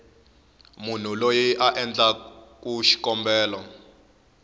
munhu loyi a endlaku xikombelo